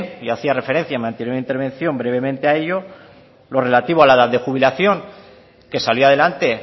y había referencia en mi anterior intervención brevemente a ello lo relativo a la edad de jubilación que salió adelante